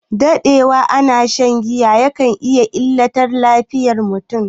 Daɗewa ana shan giya kan illata lafiyar mutum